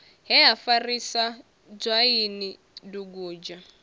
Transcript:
he ha farisa dzwaini dugudzha